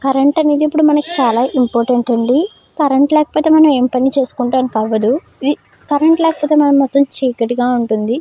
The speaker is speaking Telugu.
కరెంట్ అనేది ఇప్పుడు మనకు చాలా ఇంపార్టెంట్ అండి. కరెంట్ లేకపోతే మనం ఏం పని చేసుకుంటానికి అవ్వదు. కరెంట్ లేకపొతే మొత్తం చికటిగా ఉంటుంది.